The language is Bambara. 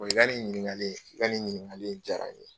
ɲininkali i ka nin ɲininkali in jaara n ye.